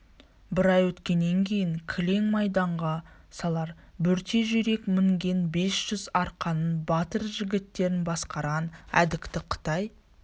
бір ай өткеннен кейін кілең майданға салар бөрте жүйрік мінген бес жүз арқаның батыр жігіттерін басқарған әдікті қытай